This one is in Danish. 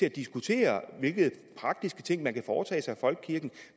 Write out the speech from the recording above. at diskutere hvilke praktiske ting man kan foretage sig i folkekirken